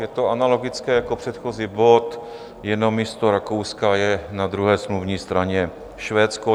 Je to analogické jako předchozí bod, jenom místo Rakouska je na druhé smluvní straně Švédsko.